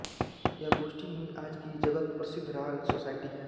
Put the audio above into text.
यह गोष्ठी ही आज की जगतप्रसिद्ध रॉयल सोसायटी है